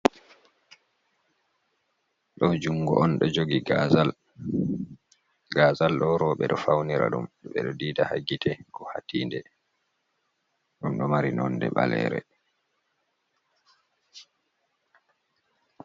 Ɗo jungo on ɗo jogi gazal, gazal ɗo roɓe ɗo faunira ɗum ɓe ɗo ɗiɗa ha gite ko hatinɗe ɗum ɗo mari nonɗe ɓalere.